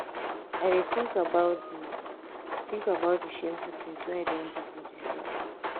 i dey tink about di tink about di shameful tins wey i don um do for dis life. um